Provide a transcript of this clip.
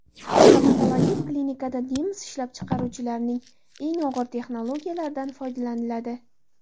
Stomatologik klinikada nemis ishlab chiqaruvchilarining eng ilg‘or texnologiyalaridan foydalaniladi.